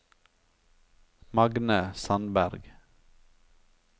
Magne Sandberg